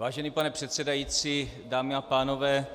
Vážený pane předsedající, dámy a pánové,